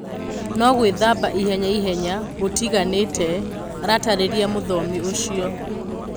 No-"gũĩthamba ihenya ihenya" gũtiganĩte, aratarĩria mũthomi ũcio.